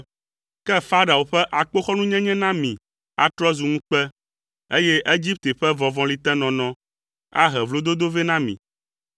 Ke Farao ƒe akpoxɔnunyenye na mi atrɔ zu ŋukpe, eye Egipte ƒe vɔvɔlitenɔnɔ ahe vlododo vɛ na mi.